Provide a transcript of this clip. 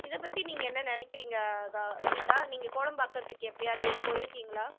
இதை பத்தி நீங்க என்ன நினைக்குறீங்க கௌ கீதா நீங்க கோடம்பாக்கத்துக்கு எப்பயாவது போயிருக்கீங்களா